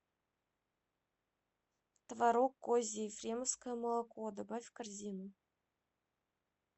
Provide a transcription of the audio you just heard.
творог козий ефремовское молоко добавь в корзину